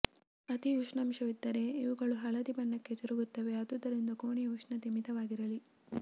ಅತಿ ಉಷ್ಣಾಂಶವಿದ್ದರೆ ಇವುಗಳು ಹಳದಿ ಬಣ್ಣಕ್ಕ ತಿರುಗುತ್ತವೆ ಆದುದರಿಂದ ಕೋಣೆಯ ಉಷ್ಣತೆ ಮಿತವಾಗಿರಲಿ